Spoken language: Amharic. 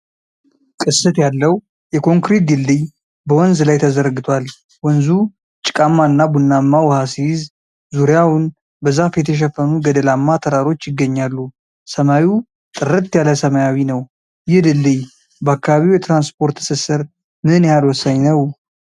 ቅስት ያለው የኮንክሪት ድልድይ በወንዝ ላይ ተዘርግቷል። ወንዙ ጭቃማ እና ቡናማ ውሃ ሲይዝ፣ ዙሪያውን በዛፍ የተሸፈኑ ገደላማ ተራሮች ይገኛሉ። ሰማዩ ጥርት ያለ ሰማያዊ ነው። ይህ ድልድይ በአካባቢው የትራንስፖርት ትስስር ምን ያህል ወሳኝ ነው?